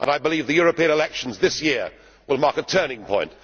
I believe the European elections this year will mark a turning point.